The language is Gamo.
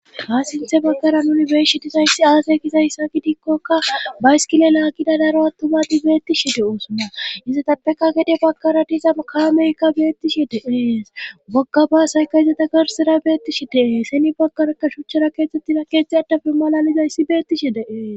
haasinthe baggaran uni beshi disayssi aasey gizayssa gidikkokka baiskile laagida daro attumadi beettishi de7osonna iza tappeka gede baggara diiza ma kameykka beettishi de'es bogga baasayka iza ta garsida beettishi deee seni baggaraka shuchchara keexettina keexthe addafe malalizayssi beettishi de'es